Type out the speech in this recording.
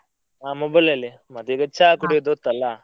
ಹಾ mobile ಅಲ್ಲಿಯೆ ಮತ್ತೆ ಈಗ ಚಾ ಕುಡಿಯುದು ಹೊತ್ತಲ್ಲ.